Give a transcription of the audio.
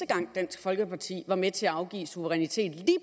gang dansk folkeparti var med til at afgive suverænitet i